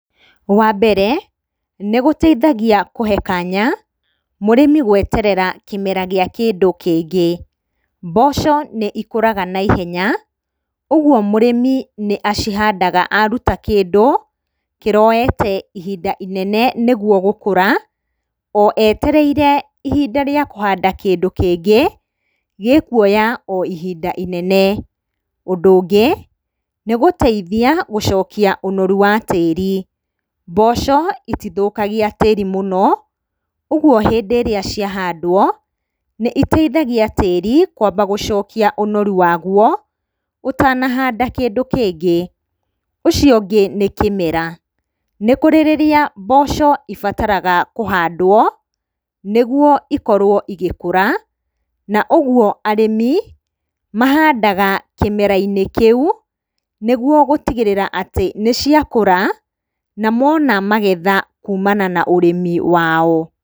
Wa mbere, nĩgũtaithagia kũhe kanya mũrĩmi gweterera kĩmera gĩa kĩndũ kĩngĩ. Mboco nĩikũraga na ihenya, ũguo mũrĩmi nĩ acihandaga aruta kĩndũ kĩroete ihinda inene nĩguo gũkũra, o etereire ihinda rĩa kũhanda kĩndũ kĩngĩ gĩkuoya o hinda inene. Ũndũ ũngĩ, nĩgũteithia gũcokia ũnoru wa tĩri. Mboco itithũkagia tĩri mũno, ũguo hĩndĩ ĩrĩa ciahandwo nĩitaithagia tĩri gũcokia ũnoru waguo ũtanahanda kĩndũ kĩngĩ. Ũcio ũngĩ nĩ kĩmera. Nĩ kũrĩ rĩrĩa mboco ibataraga kũhandwo, nĩguo ikorwo igĩkũra, na ũguo arĩmi mahandaga kĩmera-inĩ kĩu, nĩguo gũtigĩrĩra atĩ nĩciakũra na mona magetha kumana na ũrĩmi wao.